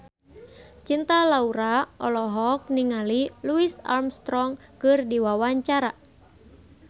Cinta Laura olohok ningali Louis Armstrong keur diwawancara